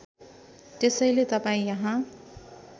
त्यसैले तपाईँ यहाँ